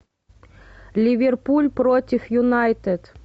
ливерпуль против юнайтед